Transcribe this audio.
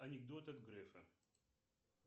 анекдот от грефа